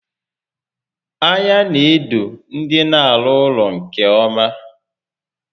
Anya n'edo ndị n'arụ ụlọ nke ọma